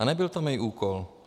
A nebyl to můj úkol.